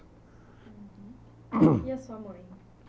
Uhum, E a sua mãe?